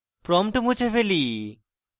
prompt মুছে ফেলি